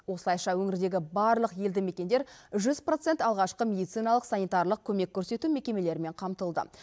осылайша өңірдегі барлық елді мекендер жүз процент алғашқы медициналық санитарлық көмек көрсету мекемелерімен қамтылды